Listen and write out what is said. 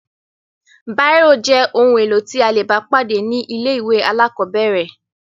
Bírò jẹ́ ohun-èlò tí a le bá pàdé ní ilé-ìwé alákọ̀ọ́bẹ̀rẹ̀.